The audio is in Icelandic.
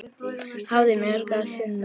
Hafa mörgu að sinna.